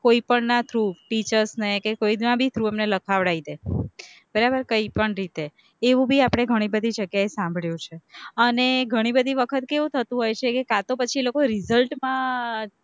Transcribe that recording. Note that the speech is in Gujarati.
કોઈ પણના through, teachers ને કે એ કોઈના ભી through એમને લખાવડ઼ાઈ દે, બરાબર કઈ પણ રીતે, એવું ભી આપણે ઘણી બધી જગ્યાએ સાંભળેલું છે, અને ઘણી બધી વખત કેવું થતું હોય છે કે કાં તો પછી લોકો result માં